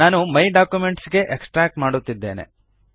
ನಾನು my documents ಗೆ extract ಮಾಡುತ್ತಿದ್ದೇನೆ